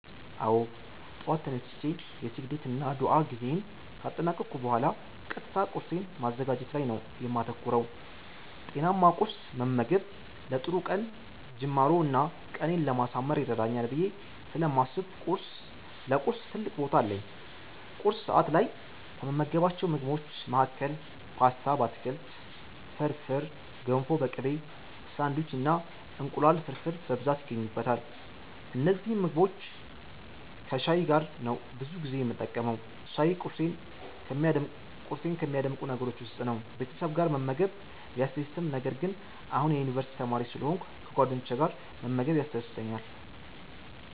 አዎ! ጠዋት ተነስቼ የስግደት እና ዱዓ ጊዜየን ካጠናቀኩ ቡሃላ ቀጥታ ቁርሴን ማዘጋጀት ላይ ነው የማተኩረው። ጤናማ ቁርስ መመገብ ለጥሩ ቀን ጅማሮ እና ቀኔን ለማሳመር ይረዳኛል ብየ ስለማስብ ለቁርስ ትልቅ ቦታ አለኝ። ቁርስ ሰዐት ላይ ከምመገባቸው ምግቦች መሀከል ፓስታ በአትክልት፣ ፍርፍር፣ ገንፎ በቅቤ፣ ሳንዲዊች እና እንቁላል ፍርፍር በብዛት ይገኙበታል። እነዚህን ምግቦች ከሻይ ጋር ነው ብዙ ጊዜ የምጠቀመው። ሻይ ቁርሴን ከሚያደምቁ ነገሮች ውስጥ ነው። ቤተሰብ ጋር መመገብ ቢያስደስትም ነገር ግን አሁን የዩኒቨርስቲ ተማሪ ስለሆንኩ ከጓደኞቼ ጋር መመገብ ያስደስተኛል።